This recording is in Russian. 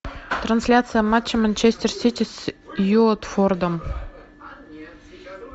трансляция матча манчестер сити с уотфордом